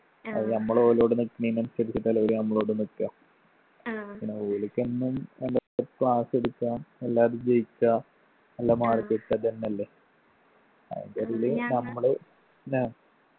അത് നമ്മളോലോട് നിക്കുന്നെന് അനുസരിച്ചിട്ടല്ലേ ഓല് നമ്മളോടും നിക്കഅ പിന്നെ ഓലിക്കെന്നും class എടുക്കാ എല്ലാരും ജയിക്കാ നല്ല mark കിട്ടാ അതെന്നെല്ലേ അതിന്റിടയില് നമ്മള്